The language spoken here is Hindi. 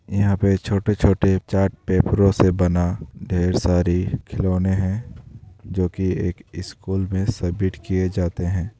यहाँ पे छोटे-छोटे चार्ट पेपरों से बना ढ़ेर सारी खिलौने हैं जो की एक स्कूल में सबमिट किये जाते हैं।